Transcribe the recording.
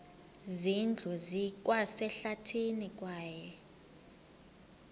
zindlu zikwasehlathini kwaye